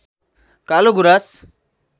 कालो गुराँस